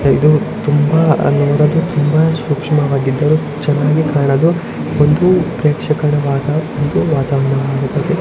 ಇದು ನೋಡಲು ತುಂಬಾ ತುಂಬಾ ಸೂಕ್ಷ್ಮವಾಗಿ ಇದೆ ಚೆನ್ನಾಗಿ ಕಾಣಲು ಒಂದು ಪ್ರೇಕ್ಷಕರ ಒಂದು ವಾತಾವರಣವಾಗಿದೆ.